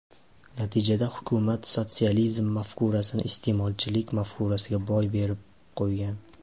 Natijada hukumat sotsializm mafkurasini iste’molchilik mafkurasiga boy berib qo‘ygan.